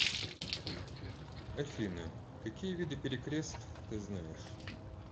афина какие виды перекрест ты знаешь